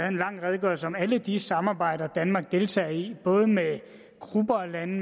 en lang redegørelse om alle de samarbejder danmark deltager i både med grupper af lande